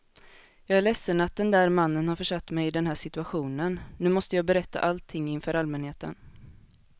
Jag är ledsen att den där mannen har försatt mig i den här situationen, nu måste jag berätta allting inför allmänheten.